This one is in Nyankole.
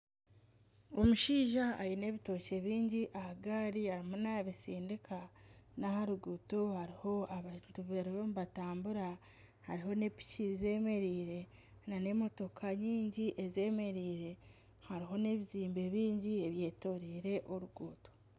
Omushaija aine ebitookye bingi aha gaari arimu nabitsindika, n'aha ruguuto hariho abantu bariho nibatambura hariho n'epiki zemereire nana emotoka nyingi ezemereire hariho n'ebizimbe bingi ebyetoroire oruguuto.